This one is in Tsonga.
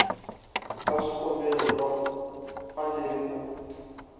va swikombelo va fanele ku